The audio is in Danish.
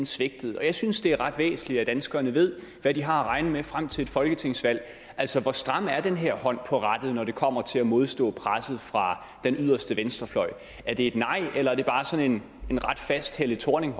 svigtede jeg synes det er ret væsentligt at danskerne ved hvad de har at regne med frem til et folketingsvalg altså hvor stram er den her hånd på rattet når det kommer til at modstå presset fra den yderste venstrefløj er det et nej eller er det bare sådan en ret fast helle thorning